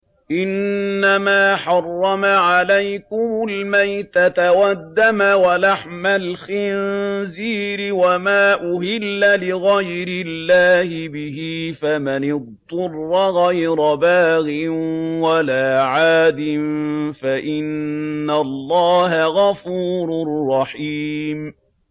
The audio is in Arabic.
إِنَّمَا حَرَّمَ عَلَيْكُمُ الْمَيْتَةَ وَالدَّمَ وَلَحْمَ الْخِنزِيرِ وَمَا أُهِلَّ لِغَيْرِ اللَّهِ بِهِ ۖ فَمَنِ اضْطُرَّ غَيْرَ بَاغٍ وَلَا عَادٍ فَإِنَّ اللَّهَ غَفُورٌ رَّحِيمٌ